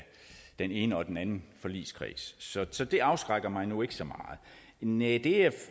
den ene og den anden forligskreds så så det afskrækker mig nu ikke så meget næ det jeg